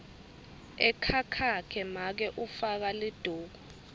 ekhakhakhe make ufaka liduku